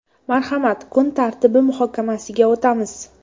Marhamat, kun tartibi muhokamasiga o‘tamiz.